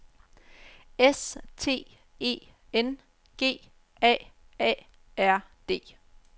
S T E N G A A R D